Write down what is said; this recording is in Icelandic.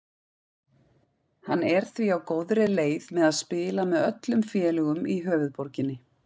Hann er því á góðri leið með að spila með öllum félögum í höfuðborginni.